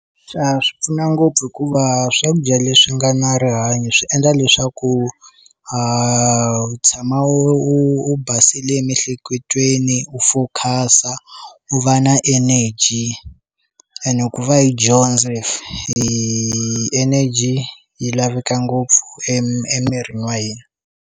Swa swi pfuna ngopfu hikuva swakudya leswi nga na rihanyo swi endla leswaku a u tshama u u basile emiehleketweni u focuse-sa u va na energy ene ku va hi dyondza hi fa energy yi laveka ngopfu emirini wa hina.